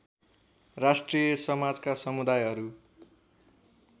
राष्ट्रिय समाजका समुदायहरू